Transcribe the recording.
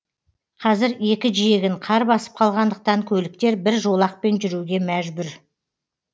қазір екі жиегін қар басып қалғандықтан көліктер бір жолақпен жүруге мәжбүр